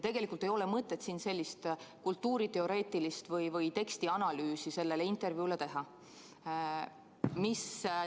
Tegelikult ei ole mõtet siin sellist kultuuriteoreetilist või tekstianalüüsi selle intervjuu kohta teha.